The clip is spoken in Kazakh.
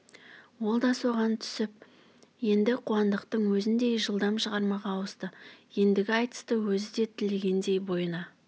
ол да соған түсіп енді қуандықтың өзіндей жылдам шығармаға ауысты ендігі айтысты өзі де тілегендей бойына